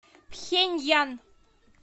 пхеньян